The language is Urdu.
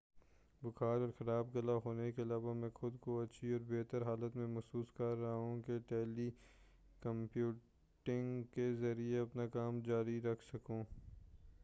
بُخار اور خراب گلا ہونے کے علاوہ مَیں خُود کو اچھی اور بہتر حالت میں محسوس کررہا ہوں کہ ٹیلی کمیوٹنگ کے ذریعے اپنا کام جاری رکھ سکوں